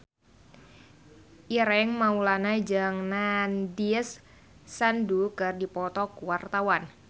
Ireng Maulana jeung Nandish Sandhu keur dipoto ku wartawan